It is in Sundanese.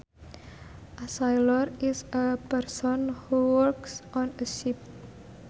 A sailor is a person who works on a ship